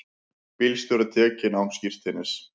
Bílstjóri tekinn án skírteinis